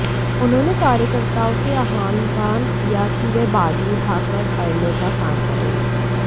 उन्होंने कार्यकर्ताओं से आह्वान किया कि वे बाजू उठाकर अड़ने का काम करें